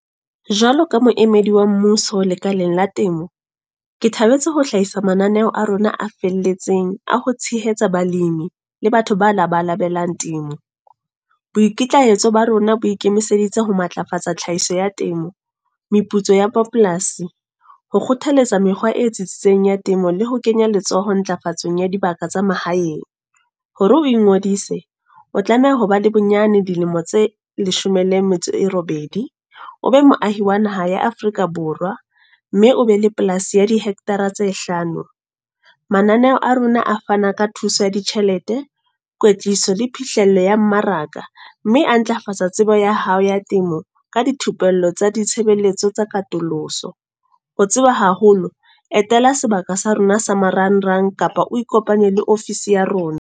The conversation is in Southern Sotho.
Jwalo ka moemedi wa mmuso lekaleng la temo. Ke thabetse ho hlahisa mananeo a rona a felletseng, a ho tshehetsa balimi le batho ba labalabelang temo. Boikitlahetso ba rona bo ikemiseditse ho matlafatsa tlhahiso ya temo, meputso ya bo polasi. Ho kgothaletsa mekgwa e tsitsitseng ya temo le ho kenya letsoho ntlafatsong ya dibaka tsa mahaeng. Hore o ingodise, o tlameha ho ba le bonyane dilemo tse leshome le metso e robedi. O be moahi wa naha ya Afrika Borwa. Mme o be le polasi ya di-hector tse hlano. Mananeo a rona a fana ka thuso ya ditjhelete, kwetliso le phihlelo ya mmaraka. Mme a ntlafatsa tsebo ya hao ya temo, ka dithupello tsa ditshebeletso tsa katoloso. Ho tseba haholo, etela sebaka sa rona sa marangrang kapa o ikopanye le ofisi ya rona.